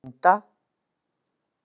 Linda